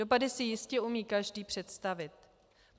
Dopady si jistě umí každý představit.